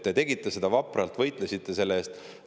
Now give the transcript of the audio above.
Te tegite seda vapralt, võitlesite selle eest.